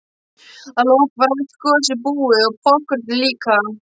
Að lokum var allt gosið búið og poppkornið líka.